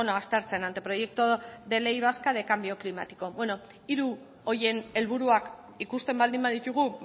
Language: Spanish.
aztertzen anteproyecto de ley vasca de cambio climático hiru horien helburuak ikusten baldin baditugu